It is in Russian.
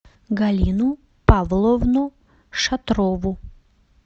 галину павловну шатрову